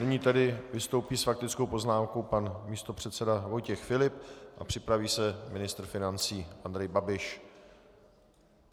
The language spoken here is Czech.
Nyní tedy vystoupí s faktickou poznámkou pan místopředseda Vojtěch Filip a připraví se ministr financí Andrej Babiš.